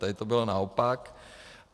Tady to bylo naopak.